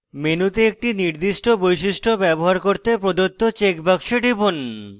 মেনুতে একটি নির্দিষ্ট বৈশিষ্ট্য ব্যবহার করতে প্রদত্ত check box টিপুন